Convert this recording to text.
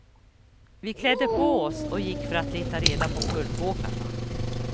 Vi klädde på oss och gick för att leta reda på pulkåkarna.